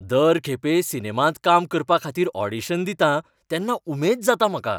दर खेपे सिनेमांत काम करपाखातीर ऑडिशन दितां तेन्ना उमेद जाता म्हाका.